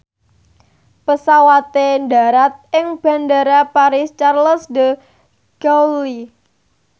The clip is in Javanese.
pesawate ndharat ing Bandara Paris Charles de Gaulle